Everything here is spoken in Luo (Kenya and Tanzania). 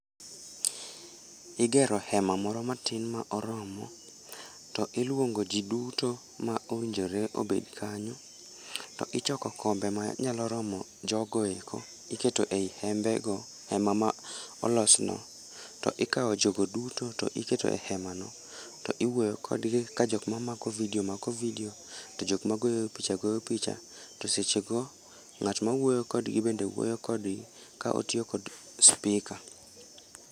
Igero hema moro matin ma oromo, to iluongo ji duto ma owinjore obed kanyo, to ichoko kombe manyalo romo jogo eko, iketo ei hembe go. Hema ma olosno. To ikawo jogo duto to iketo e hemano. To iwuoyo kodgi ka jokma mako video mako video, to jokma goyo picha goyo picha. To sechego, ngátma wuoyo kodgi bende wuoyo kodgi, ka otiyo kod speaker.